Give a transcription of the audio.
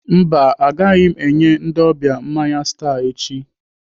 Mba, agaghị m enye ndị ọbịa mmanya Star echi.